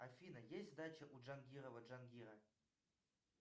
афина есть дача у джангирова джангира